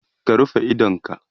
ka rufe idonka!